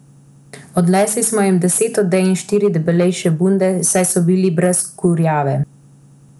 Odnesli smo jim deset odej in štiri debelejše bunde, saj so bili brez kurjave.